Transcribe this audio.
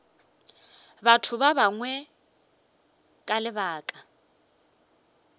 batho ba bangwe ka lebaka